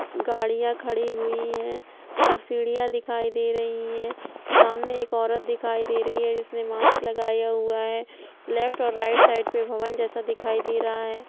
गाड़िया खड़ी हुई हैं और सीढ़िया दिखाई दे रही हैं सामने एक औरत दिखाई दे रही है जिस ने मास्क लगाया हुआ है लेफ्ट और राइट साइड पर भवन जैसा दिखाई दे रहा है ।